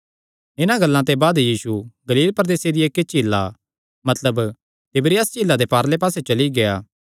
इन्हां गल्लां ते बाद यीशु गलील प्रदेसे दिया इक्की झीला मतलब तिबिरियास झीला दे पारले पास्सेयो चली गेआ